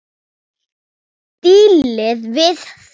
Dílið við það!